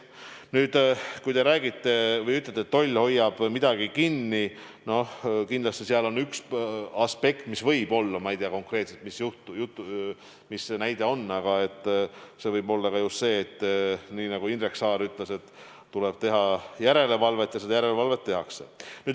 Nüüd, kui te ütlete, et toll hoiab midagi kinni, siis seal on kindlasti üks aspekt, mis võib olla – ehkki ma ei tea konkreetselt, mille kohta see näide käis – just see, nagu ka Indrek Saar ütles, et tuleb teha järelevalvet.